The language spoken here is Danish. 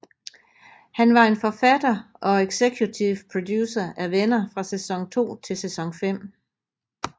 Han var en forfatter og executive producer af Venner fra sæson 2 til sæson 5